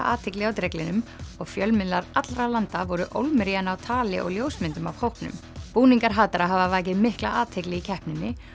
athygli á dreglinum og fjölmiðlar allra landa voru ólmir í að ná tali og ljósmyndum af hópnum búningar hatara hafa vakið mikla athygli í keppninni